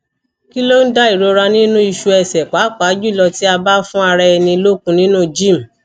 kilon da irora ninu isu ese papa julo ti aba fun ara eni lokun ninu gym